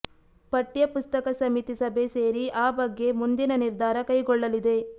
ಪಠ್ಯ ಪುಸ್ತಕ ಸಮಿತಿ ಸಭೆ ಸೇರಿ ಆ ಬಗ್ಗೆ ಮುಂದಿನ ನಿರ್ಧಾರ ಕೈಗೊಳ್ಳಲಿದೆ